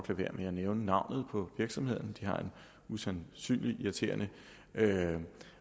være med at nævne navnet på virksomheden som har en usandsynlig irriterende